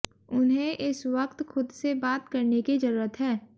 उन्हें इस वक्त खुद से बात करने की जरूरत है